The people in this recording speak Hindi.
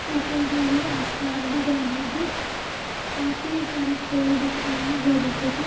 ऊपर जो है आसमान दिख रहा है काफी सारे पेड़ दिख रहे है घने-घने।